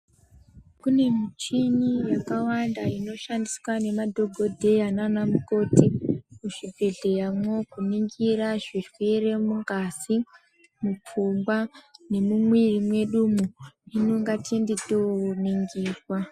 Kune michini yakawanda inoshandiswa nemadhokodheya nanamukoti muzvibhehleya mwo kuningira zvirwere mungazi mupfungwa nemumwiri mwedumwo hino ngatiende toningirwa.